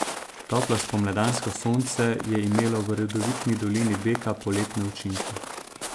Toplo spomladansko sonce je imelo v rodovitni dolini Beka poletne učinke.